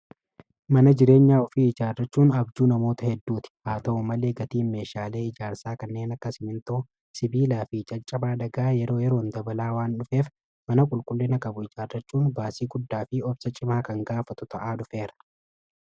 Mana jireenyaa ofii ijaarrachuun abjuu namoota hedduuti. Haa ta'u malee gatiin meeshaalee ijaarsaa kanneen akka simmintoo, sibiilaa fi caccabaa dhagaa yeroo yeroon dabalaa waan dhufeef mana qulqullina qabu ijaarrachuun baasii guddaa fi obsa cimaa kan gaafatu ta'aa dhufeera.